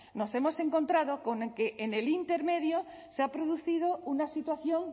nos hemos encontrado con que en el intermedio se ha producido una situación